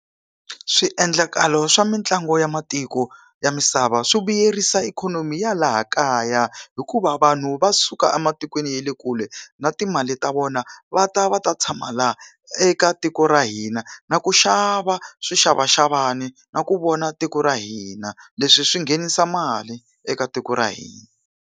Swiendlakalo swa mitlangu ya matiko ya misava swi vuyerisa ikhonomi ya laha kaya hikuva vanhu va suka ematikweni ya le kule na timali ta vona va ta va ta tshama laha eka tiko ra hina, na ku xava swixavaxavani na ku vona tiko ra hina. Leswi swi nghenisa mali eka tiko ra hina.